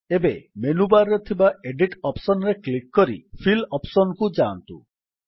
ଏବେ ମେନୁବାର୍ ରେ ଥିବା ଏଡିଟ୍ ଅପ୍ସନ୍ ରେ କ୍ଲିକ୍ କରି ଫିଲ୍ ଅପ୍ସନ୍ କୁ ଯାଆନ୍ତୁ